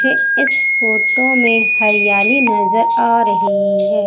मुझे इस फोटो में हरियाली नजर आ रही हैं।